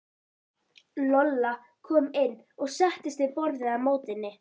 Lolla kom inn og settist við borðið á móti henni.